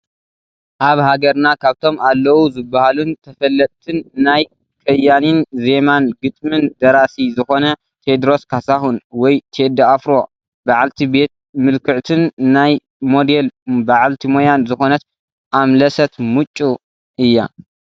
ኣብ ሃገርና ካብቶም ኣለዉ ዝበሃሉን ተፈለጥን ናይ ከያኒን ዜማን ግጥምን ደራሲ ዝኾነ ቴድሮስ ካሳሁን ወይ ቴዲ ኣፍሮ በዓልቲ ቤት ምልክዕትን ናይ ሞዴል በዓልቲ ሞያን ዝኾነት ኣምለሰት ሙጬ እያ።